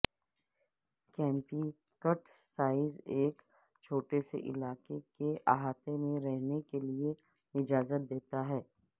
compact size ایک چھوٹے سے علاقے کے احاطے میں رکھنے کے لئے اجازت دیتا ہے